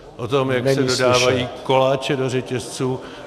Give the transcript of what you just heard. - o tom, jak se dodávají koláče do řetězců.